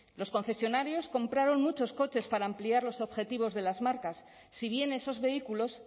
los concesionarios compraron muchos coches para ampliar los objetivos de las marcas si bien esos vehículos